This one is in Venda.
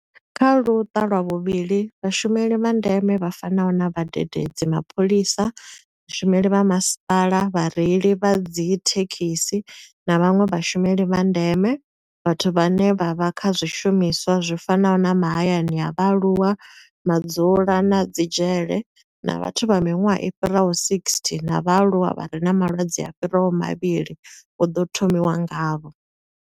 Kha Luṱa lwa vhuvhili, vhashumeli vha ndeme vha fanaho na vhadededzi, mapholisa, vhashumeli vha masipala, vhareili vha dzithekhisi na vhanwe vhashumeli vha ndeme vhathu vhane vha vha kha zwiimiswa zwi fanaho na mahayani a vhaaluwa, madzulo na dzi dzhele na vhathu vha miṅwaha i fhiraho 60 na vhaaluwa vha re na malwadze a fhiraho mavhili hu ḓo thomiwa ngavho.